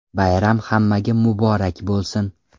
Bayram hammaga muborak bo‘lsin!